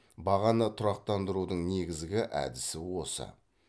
бағаны тұрақтандырудын негізгі әдісі осы